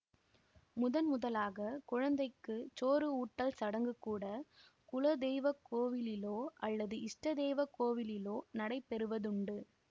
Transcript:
முதன்முதலாக குழந்தைக்குச் சோறு ஊட்டல் சடங்கு கூட குலதெய்வக் கோவிலிலோ அல்லது இஷ்ட தெய்வ கோவிலிலோ நடைபெறுவதுண்டு